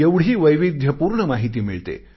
एवढी वैविध्यपूर्ण माहिती मिळते